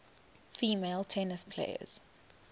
female tennis players